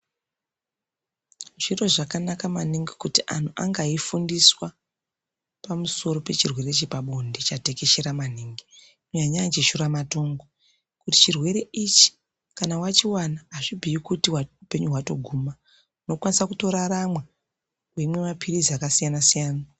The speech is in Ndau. Zviro zvakanaka maningi kuti antu ange eifundiswa Pamusoro pechirwere chepabonde chatekeshera Maningi panyaya dzeshura matongo ngekuti chirwere ichi kana wachibata azvibhuyi kuti hupenyu hwatoguma unokwanisa kutorarama weimwa mapirizi akasiyana siyana.